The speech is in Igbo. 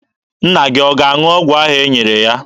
Nna gị ọ ga-aṅụ ọgwụ ahụ e nyere ya?